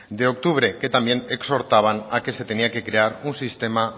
de octubre que también exhortaban a que se tenía que crear un sistema